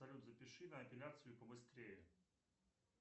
салют запиши на эпиляцию побыстрее